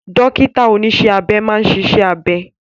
Dókítà oníṣẹ́ abẹ máa ń ṣiṣẹ́ abẹ